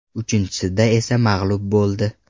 Uchinchisida esa mag‘lub bo‘ldi.